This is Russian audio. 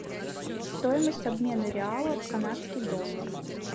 стоимость обмена реала в канадский доллар